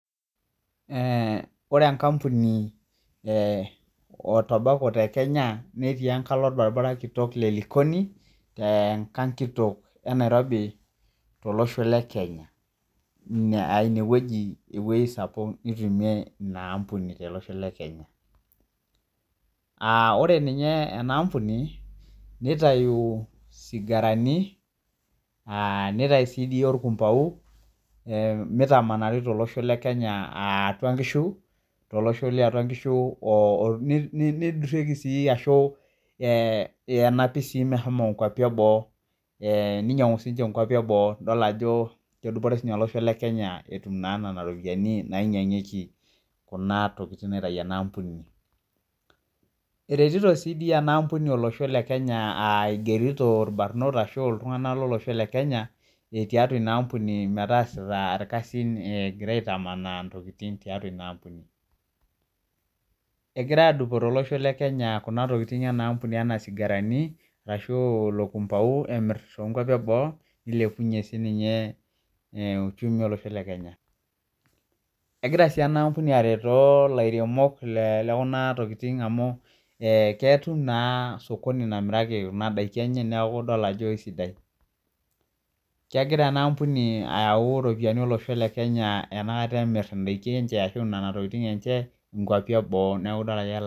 Ee ore enkampuni etobako tekenya netii engali orbaribara kitok le likoni tenkalo nairobi tolosho le Kenya inewueji ewoi sapuk nitumie inaampuni tolosho le Kenya ore si enaampuni nitau sigarani nitau si orkumbau mitamanari tolosho liatua nkishu nidurieki si arashu enapi meshomo olosho le boo ee ninyangu sinye olosho le boo idol ajo kedupore olosho lekenya etum na nona ropiyani nainyangieki kuna tokitin naitau enaampuni etii si enaampuni nigerito irbarnot lolosho le kenya tiatua inaampuni metaasa itkasin egira aitamanaa nona tokikitin egira adupore egira aitamanaa ntokitin inaampuni arashu ilo kumbau emir to kwapi eboo nilepunye uchumi olosho le kenya egira si enaampuni areto laremok lekuna tokitin amu ketum na osokoni omiraki kuna tokitin neaku idol ajo kesidai kegira enaampuni ayau ropiyani olosho le Kenya enoshi kata emir ntokitin enye nkwapi eboo neaku taata keeta.